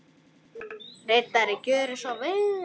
Ritari Gjörðu svo vel.